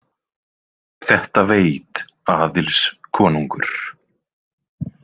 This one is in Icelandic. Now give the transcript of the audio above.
Þetta veit Aðils konungur.